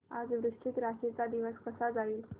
आज वृश्चिक राशी चा दिवस कसा जाईल